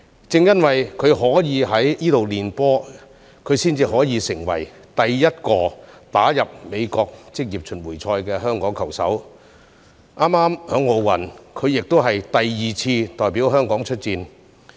正因為她可以在該處練習，她才可以成為第一個打入美國職業巡迴賽的香港球手，並在早前第二次代表香港出戰奧運。